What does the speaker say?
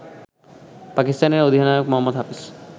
পাকিস্তানের অধিনায়ক মোহাম্মদ হাফিজ